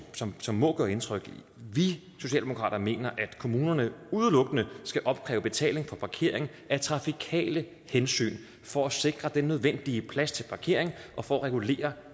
som som må gøre indtryk vi socialdemokrater mener at kommunerne udelukkende skal opkræve betaling for parkering af trafikale hensyn for at sikre den nødvendige plads til parkering og for at regulere